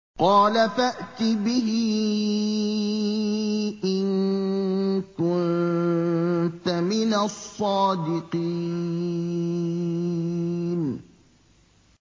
قَالَ فَأْتِ بِهِ إِن كُنتَ مِنَ الصَّادِقِينَ